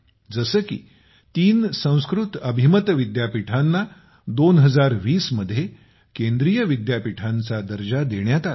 जसे की तीन संस्कृत डीम्ड विद्यापीठांना 2020 मध्ये केंद्रीय विद्यापीठे करण्यात आली